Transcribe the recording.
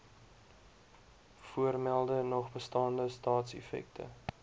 voormelde nogbestaande staatseffekte